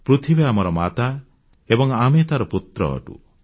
ପୃଥିବୀ ଆମର ମାତା ଏବଂ ଆମେ ତାର ପୁତ୍ର ଅଟୁ